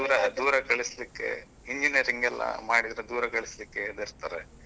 ದೂರ, ದೂರ ಕಳಿಸ್ಲಿಕ್ಕೆ engineer ಎಲ್ಲ ಮಾಡಿದ್ರೆ ದೂರ ಕಳಿಸ್ಲಿಕ್ಕೆ ಹೆದರ್ತಾರೆ.